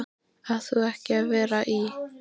Átt þú ekki að vera í.-?